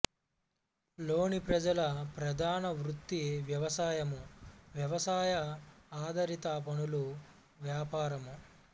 లోని ప్రజల ప్రధాన వృత్తి వ్యవసాయము వ్యవసాయ ఆధారిత పనులు వ్యాపారము